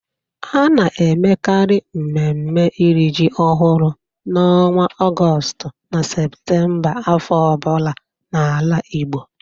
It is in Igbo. A na-emekarị mmemme iri ji ọhụrụ n'ọnwa Ọgọstụ na Seputemba afọ ọ bụla n'ala Igbo.